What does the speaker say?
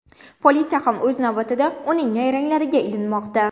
Politsiya ham o‘z navbatida uning nayranglariga ilinmoqda.